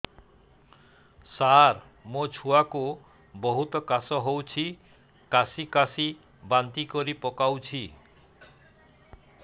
ସାର ମୋ ଛୁଆ କୁ ବହୁତ କାଶ ହଉଛି କାସି କାସି ବାନ୍ତି କରି ପକାଉଛି